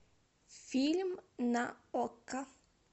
фильм на окко